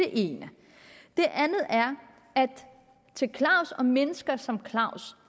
ene det andet er at til claus og mennesker som claus